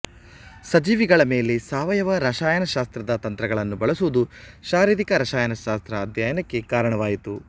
ಸಜೀವಿಗಳ ಮೇಲೆ ಸಾವಯವ ರಸಾಯನಶಾಸ್ತ್ರದ ತಂತ್ರಗಳನ್ನು ಬಳಸುವುದು ಶಾರೀರಿಕ ರಸಾಯನಶಾಸ್ತ್ರ ಅಧ್ಯಯನಕ್ಕೆ ಕಾರಣವಾಯಿತು